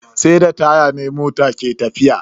Sai da taya ne mota ke tafiya.